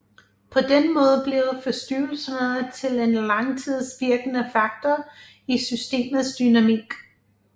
På den måde bliver forstyrrelserne til en langtidsvirkende faktor i systemets dynamik